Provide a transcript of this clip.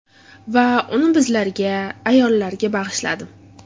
Va uni bizlarga, ayollarga bag‘ishladim!